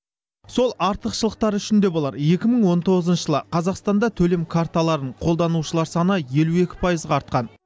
сол артықшылықтары үшін де болар екі мың он тоғызыншы жылы қазақстанда төлем карталарын қолданушылар саны елу екі пайызға артқан